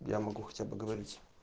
я могу хотя бы говорить